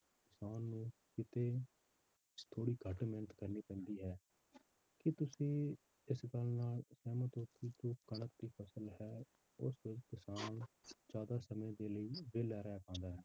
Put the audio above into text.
ਕਿਸਾਨ ਨੂੰ ਕਿਤੇ ਥੋੜ੍ਹੀ ਘੱਟ ਮਿਹਨਤ ਕਰਨੀ ਪੈਂਦੀ ਹੈ ਕੀ ਤੁਸੀਂ ਇਸ ਗੱਲ ਨਾਲ ਸਹਿਮਤ ਹੋ ਕਿ ਜੋ ਕਣਕ ਦੀ ਫਸਲ ਹੈ ਉਸ ਵਿੱਚ ਕਿਸਾਨ ਜ਼ਿਆਦਾ ਸਮੇਂ ਦੇ ਲਈ ਵਿਹਲਾ ਰਹਿ ਪਾਉਂਦਾ ਹੈ।